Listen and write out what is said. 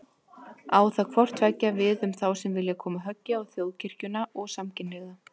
Á það hvort tveggja við um þá sem vilja koma höggi á Þjóðkirkjuna og samkynhneigða.